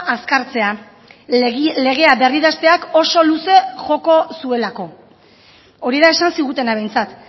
azkartzea legea berridazteak oso luze joko zuelako hori da esan zigutena behintzat